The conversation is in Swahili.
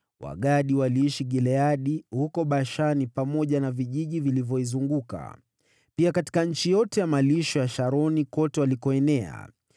Wagadi waliishi Gileadi, huko Bashani pamoja na vijiji vilivyoizunguka, pia katika nchi yote ya malisho ya Sharoni kote walikoenea.